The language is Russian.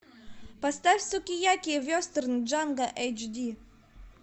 поставь сукияки вестерн джанго эйч ди